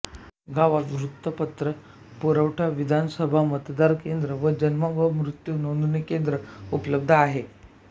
गावात वृत्तपत्र पुरवठा विधानसभा मतदान केंद्र व जन्म व मृत्यु नोंदणी केंद्र उपलब्ध आहे